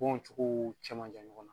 Kow cogo cɛman jan ɲɔgɔnna.